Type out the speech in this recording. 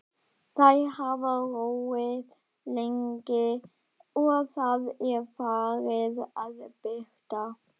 Þeir hafa róið lengi og Það er farið að birta.